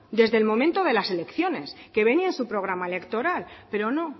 desde el momento de las elecciones que venía en su programa electoral pero no